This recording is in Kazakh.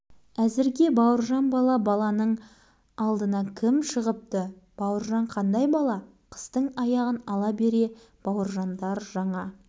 жаңаның аты жаңа қайда қарама үйдің іші-сырты да есік-терезесі де жарқырап тұр